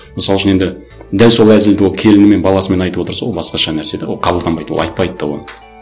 мысал үшін енді дәл сол әзілді ол келінімен баласымен айтып отырса ол басқаша нәрсе де ол қабылданбайды ол айтпайды да оны